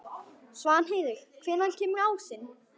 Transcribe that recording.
Svanheiður, hvenær kemur ásinn?